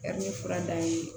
Ka ni fura d'an ye